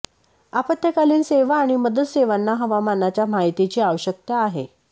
आपत्कालीन सेवा आणि मदत सेवांना हवामानाच्या माहितीची आवश्यकता आहे